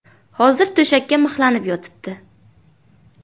Hozir to‘shakka mixlanib yotibdi.